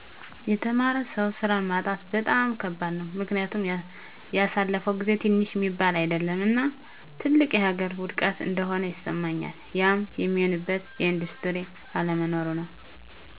የተማረ ሰው ሥራ ማጣት በጣም ከባድ ነው። ምክኒያቱም ያሣለፈው ጊዜ ትንሽ ሚባል አይደለም እና ትልቅ የሀገር ውድቀት እንደሆነ ይስማኛል። ያም ሚሆንበት የኢንዱስትሪ አለመኖሩ ነው።